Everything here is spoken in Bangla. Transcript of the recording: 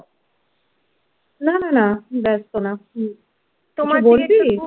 না না না ব্যস্ত ন